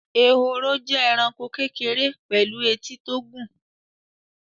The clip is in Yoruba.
Ehoro jẹ́ ẹranko kékeré pẹ̀lú etí tó gùn